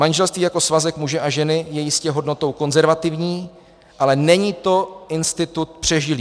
Manželství jako svazek muže a ženy je jistě hodnotou konzervativní, ale není to institut přežilý.